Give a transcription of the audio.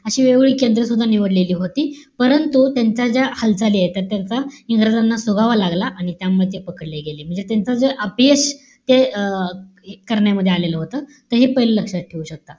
अशी वेगवेगळी केंद्र सुद्धा निवडलेली होती. परंतु, त्यांच्या ज्या हालचाली आहेत. तर, त्यांचा इंग्रजांना सुगावा लागला. आणि त्याच्यामुळे ते पकडले गेले. म्हणजे त्यांचं जे अपयश ते अं करण्यामध्ये आलेलं होतं. ते हे पहिले लक्षात ठेवूया.